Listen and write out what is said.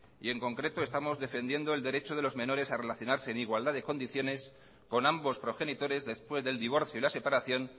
y en concreto estamos defendiendo el derecho de los menores a relacionarse en igualdad de condiciones con ambos progenitores después del divorcio y la separación